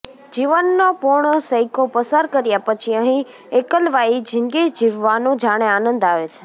જીવનનો પોણો સૈકો પસાર કર્યા પછી અહીં એકલવાયી જિંદગી જીવવાનો જાણે આનંદ આવે છે